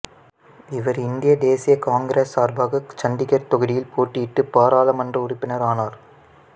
இவர் இந்திய தேசிய காங்கிரசு சார்பாக சண்டிகர் தொகுதியில் போட்டியிட்டு பாராளுமன்ற உறுப்பினர் ஆனார்